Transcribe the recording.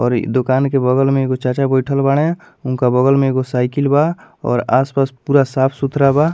और दूकान के बगल में एगो चाचा बइठल बाड़े उनका बगल में एगो साइकिल बा और आस-पास पूरा साफ सथूरा बा।